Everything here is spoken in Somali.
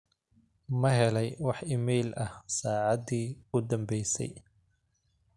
ma helay wax iimayl ah saacadii u dambaysay